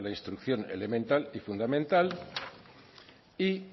instrucción elemental y fundamental y